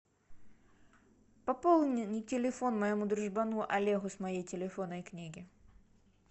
пополни телефон моему дружбану олегу с моей телефонной книги